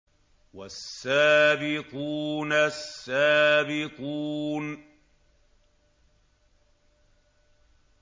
وَالسَّابِقُونَ السَّابِقُونَ